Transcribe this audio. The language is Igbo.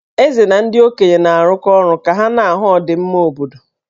Eze na ndị okenye na-arụkọ ọrụ ka ha na-ahụ ọdịmma obodo.